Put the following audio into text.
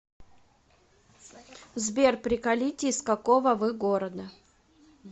сбер приколите из какого вы города